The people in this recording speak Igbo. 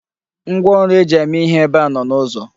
Ngwaọrụ e ji eme ihe ebe a nọ n'ụzọ.